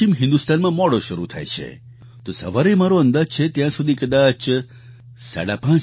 પશ્ચિમ હિન્દુસ્તાનમાં મોડો શરૂ થાય છે તો સવારે મારો અંદાજ છે ત્યાં સુધી કદાચ 5